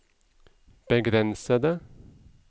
begrensede